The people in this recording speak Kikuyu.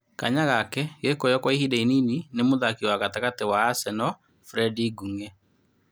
Kanya gake gekũoywo kwa ihinda inini ni mũthaki wa gatagatĩ wa Aseno Frendi Njung'e.